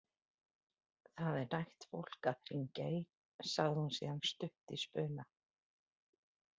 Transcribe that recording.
Það er nægt fólk að hringja í, sagði hún síðan stutt í spuna.